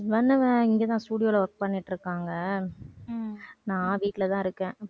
husband uh இங்கதான் studio ல work பண்ணிட்டு இருக்காங்க. நான் வீட்டுலதான் இருக்கேன்.